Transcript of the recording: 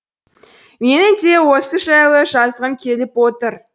менің де осы жайлы жазғым келіп отыр